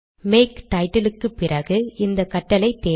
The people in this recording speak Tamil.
மேக் டைட்டில் க்குப்பிறகு இந்த கட்டளை தேவை